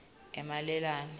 emalelane